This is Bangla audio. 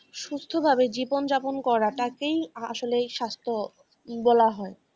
সুস্থ ভাবে জীবন যাপন করাটা তেই আসলে স্বাস্থ্য বলা হয় ।